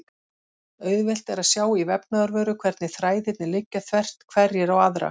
Auðvelt er að sjá í vefnaðarvöru hvernig þræðirnir liggja þvert hverjir á aðra.